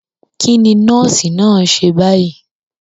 Kí ni nọ́ọ́sì náà ṣe báyìí?